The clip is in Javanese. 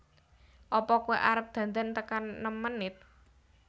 Apa koe arep dandan tekan nem menit?